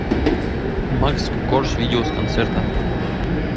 макс корж видео с концерта